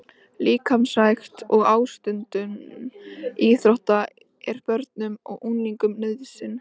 Líkamsrækt og ástundun íþrótta er börnum og unglingum nauðsyn.